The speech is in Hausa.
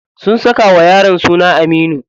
Sun saka wa yaron suna Aminu.